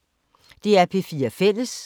DR P4 Fælles